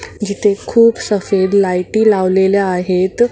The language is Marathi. जिथे खूप सफेद लाईटी लावलेल्या आहेत.